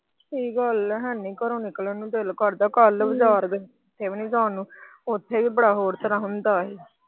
ਸਹੀ ਗੱਲ ਆ ਹੈਨੀ ਘਰੋਂ ਨਿਕਲਣ ਨੂੰ ਦਿਲ ਕਰਦਾ ਓਥੇ ਵੀ ਬੜਾ ਹੋਰ ਤਰਾਂ ਹੁੰਦਾ ਸੀ।